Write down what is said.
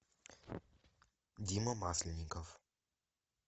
дима масленников